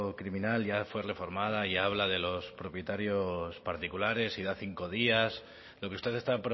criminal ya fue reformada y habla de los propietarios particulares y da cinco días lo que usted está